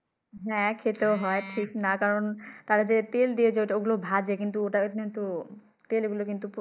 হ্যাঁ খেতেও হয় ঠিক না কারন তারা তেল দিয়ে ঐ গুলা ভাজে কিন্তু ওটা কিন্তু তেল গুলা কিন্তু